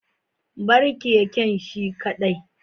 bar keken shi kadai